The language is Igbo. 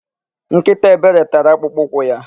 Nkịta Ebere tara akpụkpọ ụkwụ ya.